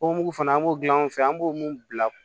O mugu fana an b'o dilan anw fɛ an b'o mun bila